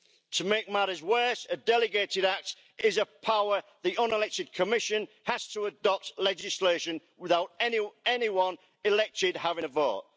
To make matters worse, a delegated act is a power the unelected Commission has to adopt legislation without any anyone who was elected having a vote.